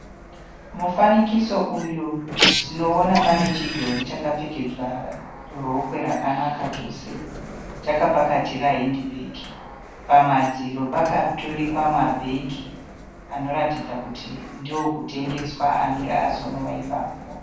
Mufanikiso uyu tinooona pane chidhori chakapfekedzwa rokwe rakanaka chose. Chakapakatira hendi bhegi. Pamadziro pakaturikwa mabhegi anoratidza kuti ndookutengeswa anenge asonwa ipapo.